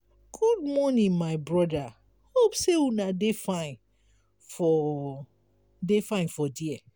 good morning my broda hope sey una dey fine for dey fine for there.